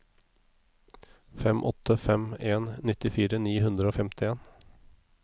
fem åtte fem en nittifire ni hundre og femtien